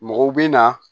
Mɔgɔw bɛ na